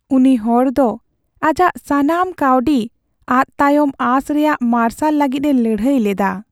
ᱩᱱᱤ ᱦᱚᱲ ᱫᱚ ᱟᱡᱟᱜ ᱥᱟᱱᱟᱢ ᱠᱟᱹᱣᱰᱤ ᱟᱫ ᱛᱟᱭᱚᱢ ᱟᱸᱥ ᱨᱮᱭᱟᱜ ᱢᱟᱨᱥᱟᱞ ᱞᱟᱹᱜᱤᱫ ᱮ ᱞᱟᱹᱲᱦᱟᱹᱭ ᱞᱮᱫᱟ ᱾